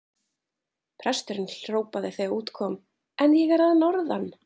Presturinn hrópaði þegar út kom:-En ég er að norðan!